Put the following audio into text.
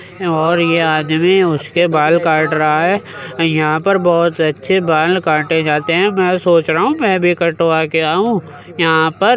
और ये आदमी उसके बाल काट रहा हे यहां पर बोहोत अच्छे बाल काटे जाते है। मैं सोच रहा हूँ मैं भी कटवा के आऊ। यहा पर --